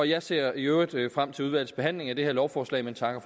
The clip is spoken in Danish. jeg ser i øvrigt frem til udvalgsbehandlingen af det her lovforslag men takker